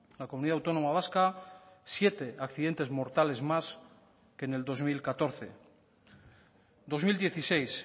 la comunidad autónoma vasca siete accidentes mortales más que en el dos mil catorce dos mil dieciséis